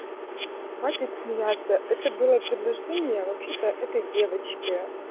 хватит смеяться это было предложение а вообще-то это девочке